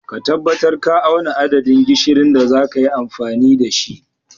Ka tabbatar ka auna adadin gishirin da zaka yi amfani da shi.